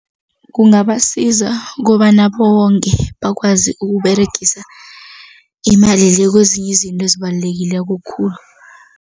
Kungabasiza ukobana bonge bakwazi ukUberegisa imali le kwezinye izinto ezibalulekileko khulu.